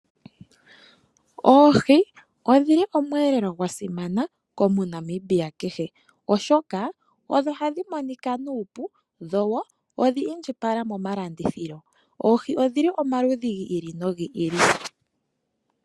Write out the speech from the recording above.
Oohi odhili omweelelo gwasimana komuNamibia kehe, oshoka odho ha dhi monika nuupu dho wo odhi indjipala momalandithilo, oohi odhili omaludhi gi ili nogi ili.